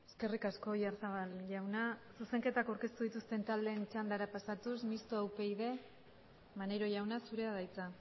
eskerrik asko oyarzabal jauna zuzenketak aurkeztu dituzten taldeen txandara pasatuz mistoa upyd maneiro jauna zurea da hitza